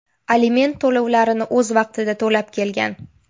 aliment to‘lovlarini o‘z vaqtida to‘lab kelgan.